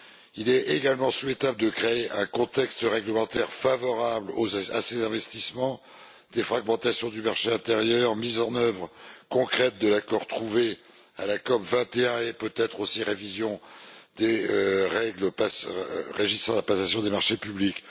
Il est également souhaitable de créer un contexte réglementaire favorable à ces investissements défragmentation du marché intérieur, mise en œuvre concrète de l'accord trouvé à la COP 21 et, peut être aussi, révision des règles régissant la passation des marchés publics.